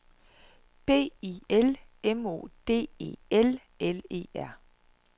B I L M O D E L L E R